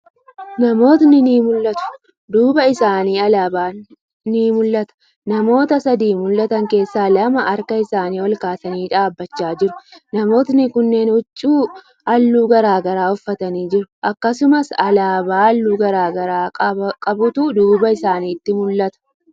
Namootni ni mul'atu. duuba isaanii alaaban ni mul'ata. Namoota sadi mul'atan keessaa lama harka isaanii olkaasanii dhaabbachaa jiru. Namootni kunneen huccuu haalluu garagaraa uffatanii jiru. Akkasumas, Alaabaa haalluu garagara qabutu duuba isaanitii mul'ata.